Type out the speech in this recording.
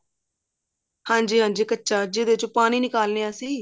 ਹਾਂਜੀ ਹਾਂਜੀ ਕੱਚਾ ਜਿਹਦੇ ਚੋਂ ਪਾਣੀ ਨਿਕਾਲ ਦੇ ਹਾਂ ਅਸੀਂ